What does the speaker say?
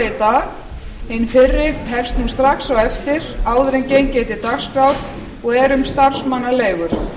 í dag hin fyrri hefst strax á eftir áður en gengið er til dagskrár og er um starfsmannaleigur